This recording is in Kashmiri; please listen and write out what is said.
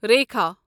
ریٖکھا